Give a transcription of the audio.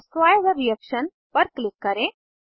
destroy the reaction पर click करें